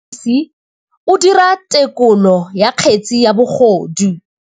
Motlhotlhomisi o dira têkolô ya kgetse ya bogodu.